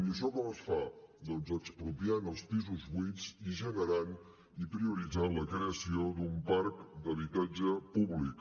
i això com es fa doncs expropiant els pisos buits i generant i prioritzant la creació d’un parc d’habitatge públic